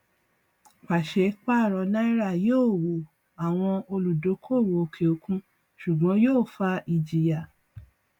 pàṣẹ paro náírà yóò wò àwọn olúdókòwò òkè òkun ṣùgbọn yóò fa ìjìyà